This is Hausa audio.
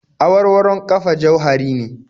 Awarwaron ƙafa jauhari ne